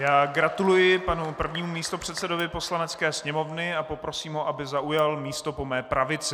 Já gratuluji panu prvnímu místopředsedovi Poslanecké sněmovny a poprosím ho, aby zaujal místo po mé pravici.